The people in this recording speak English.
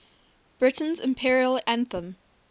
britain's imperial anthem